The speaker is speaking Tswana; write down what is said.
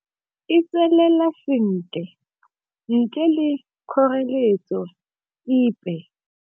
E tswelela sentle ntle le kgoreletso epe.